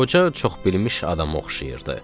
Qoca çox bilmiş adama oxşayırdı.